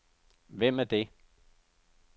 Hvem er det